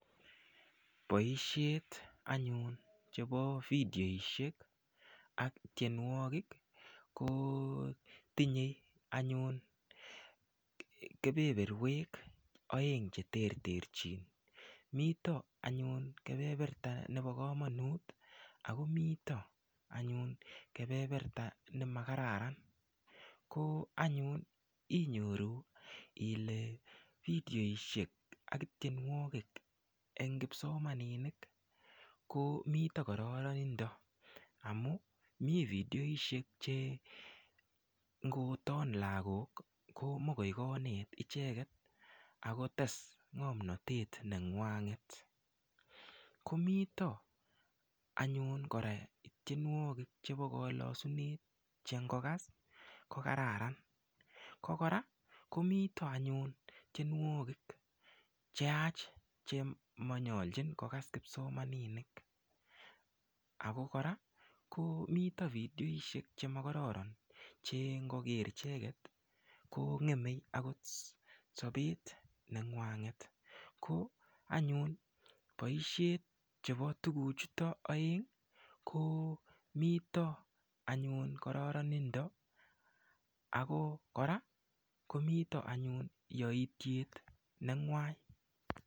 Boishet anyun chebo video ak tienuokik ko tinye anyun kebeberuek aeng cheterterchin, miten miten anyun kebeberta nebo kamanut akomiten kebeberta nemakararan ko anyun inyoru Ile video ak tienuokik en kipsomaninik miten kararanindo amuun mi video che ko magoikonet icheket akotes ng'amnotet neng'ung'et komito anyun tienuokik chebo kalasunet che ingokas ko kararan angokra komito anyun tienuokik cheyache chemalchin kogas kipsomaninik Ako kora komito video chemo kararan che infoker icheket konge'eme akot sabet neng'ung'et ko anyun boisiet chebo tuguk chuton aeng komito karanind Ako kora ih komitho yaitiet neng'ung'uan.